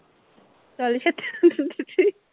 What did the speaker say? ਚੱਲ